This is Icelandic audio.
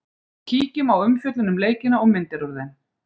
Kíkjum á umfjöllun um leikina og myndir úr þeim